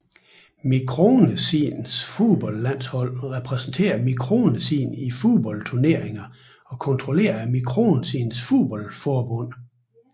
Mikronesiens fodboldlandshold repræsenterer Mikronesien i fodboldturneringer og kontrolleres af Mikronesiens fodboldforbund